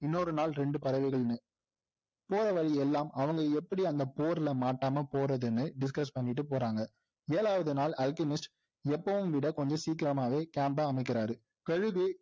இன்னொரு நாள் ரெண்டு பறவைகள்னு போறவழி எல்லாம் அவங்க எப்படி அந்த போர்ல மாட்டாம போறதுன்னு discuss பண்ணிட்டு போறாங்க ஏழாவது நாள் அல்கெமிஸ்ட் எப்போவும்விட கொஞ்சம் சீக்கிரமாகவே camp ஐ அமைக்கிறாரு